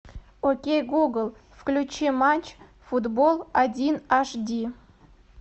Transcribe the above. окей гугл включи матч футбол один аш ди